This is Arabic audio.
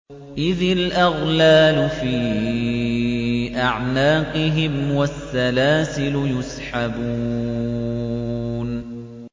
إِذِ الْأَغْلَالُ فِي أَعْنَاقِهِمْ وَالسَّلَاسِلُ يُسْحَبُونَ